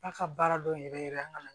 A ka baara dɔn yɛrɛ yɛrɛ an ka